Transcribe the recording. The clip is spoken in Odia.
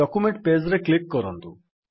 ଡକ୍ୟୁମେଣ୍ଟ୍ ପେଜ୍ ରେ କ୍ଲିକ୍ କରନ୍ତୁ